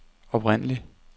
oprindelig